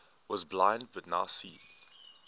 was blind but now see